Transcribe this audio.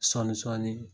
Sɔɔni sɔɔni